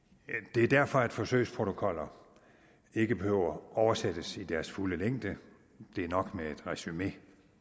det er derfor at forsøgsprotokoller ikke behøver at oversættes i deres fulde længde det er nok med et resumé